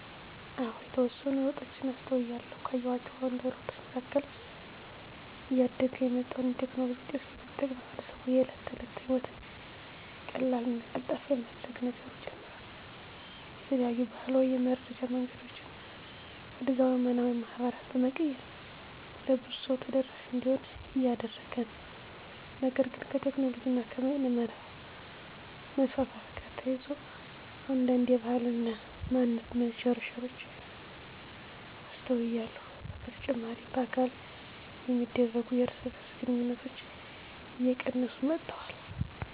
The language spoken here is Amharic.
አዎ የተወሰኑ ለውጦችን አስተውያለሁ። ካየኋቸው አዉንታዊ ለውጦች መካከል እያደገ የመጣውን የቴክኖሎጂ ዉጤቶች በመጠቀም ማህበረሰቡ የእለት ተለት ህይወቱን ቀላልና ቀልጣፋ የማድረግ ነገሩ ጨምሯል። የተለያዩ ባህላዊ የመረዳጃ መንገዶችን ወደ ዘመናዊ ማህበራት በመቀየር ለብዙ ሰው ተደራሽ እንዲሆኑ እያደረገ ነው። ነገር ግን ከቴክኖሎጂ እና በይነመረብ መስፋፋት ጋር ተያይዞ አንዳንድ የባህል እና ማንነት መሸርሸሮች አስተውያለሁ። በተጨማሪ በአካል የሚደረጉ የእርስ በእርስ ግንኙነቶች እየቀነሱ መጥተዋል።